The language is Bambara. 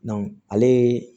ale